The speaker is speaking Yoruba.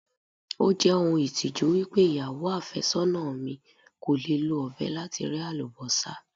Ó jẹ́ ohun ìtìjú wípé ìyàwó àfẹ́sọ́nà mi kò lè lo ọ̀bẹ láti rẹ́ Àlùbọ́sà.